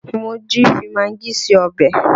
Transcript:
Mojí fi magí se ọbẹ̀